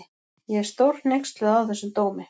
Ég er stórhneyksluð á þessum dómi.